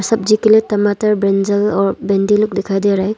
सब्जी के लिए टमाटर ब्रिंजल और भिंडी लोग दिखाई दे रहा है।